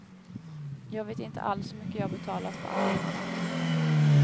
Jag vet inte alls hur mycket jag betalat för andelarna.